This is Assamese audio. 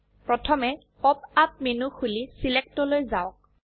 প্রথমে পপ আপ মেনু খুলি ছিলেক্ট লৈ যাওক